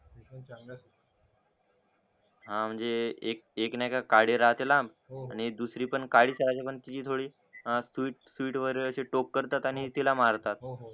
हा म्हणजे एक नाय का काळी लाम आणि दुसरी पण काळीच राजमान ताजी थोडी सुई सुई वर टोक करतात आणि तिला मारतात